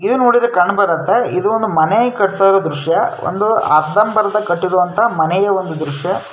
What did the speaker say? ಇದ್ ನೋಡಿದ್ರೆ ಕಣ್ ಬರುತ್ತಾ ಇದು ಒಂದು ಮನೆ ಕಟ್ಟತಾ ಇರೋ ದ್ರಶ್ಯ ಒಂದು ಅರ್ಧಮರ್ಧ ಮನೆ ಕಟ್ಟಿರುವ ಮನೆಯ ಒಂದು ದ್ರಶ್ಯ --